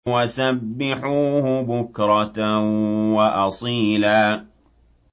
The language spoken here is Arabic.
وَسَبِّحُوهُ بُكْرَةً وَأَصِيلًا